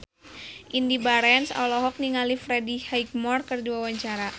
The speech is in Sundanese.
Indy Barens olohok ningali Freddie Highmore keur diwawancara